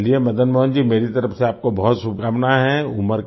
चलिए मदन मोहन जी मेरी तरफ़ से आपको बहुत शुभकामनाएं हैं